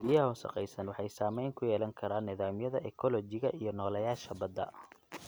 Biyaha wasakhaysan waxay saameyn ku yeelan karaan nidaamyada ekoolojiga iyo nooleyaasha badda.